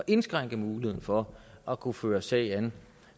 indskrænke muligheden for at kunne føre en sag